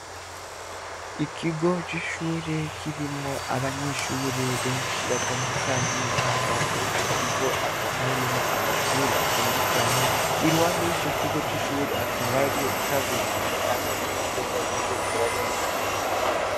Ikigo c'ishure kirimwo abanyeshure benshi batandukanye, hama muri ico kigo hakaba harimwo amashure atandukanye. Iruhande y'ico kigo c'ishure hakaba hariyo ikaburimbi hamwe n'imodoka ziriko zirarenganamwo.